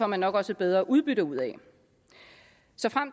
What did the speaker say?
man nok også et bedre udbytte ud